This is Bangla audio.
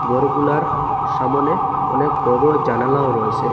গরগুলার সামোনে অনেক বড় বড় জানালাও রয়েসে।